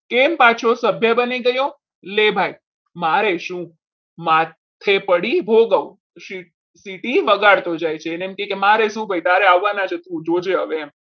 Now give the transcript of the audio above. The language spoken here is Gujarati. કેમ પાછો સભ્ય બની ગયો લે ભાઈ મારે શું માથે પડી ભોગવ સીટી વગાડતો જાય છે એને મારે શું કે ભાઈ તારે આવવાના છે તું જોજે